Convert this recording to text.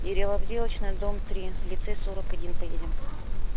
деревообделочная дом три лицей сорок один поедем